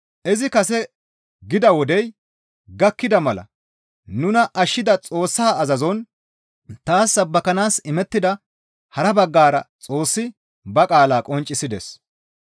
Izi kase gida wodey gakkida mala nuna ashshida Xoossaa azazon taas sabbakanaas imettida hara baggara Xoossi ba qaalaa qonccisides.